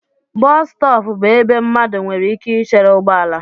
Bọs stọọpu bú ebe mmadụ nwere ike ichere ụgbọala.